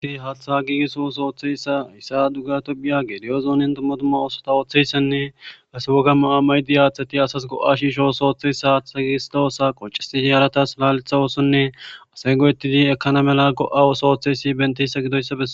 haaththaha giigisso wos ooththeyssa hissa duga topiya gediyo zoonin tummatuma oosota ooththeyssenne ase woga ma7a maydi aaththati asas go7a shiishos ooththeyssa haaththa giigisdoosa qoncisi h haaratas laletha oosonne asay go7ettidi ekkana mela go7a woso ooththeysi bentissa gidoyssae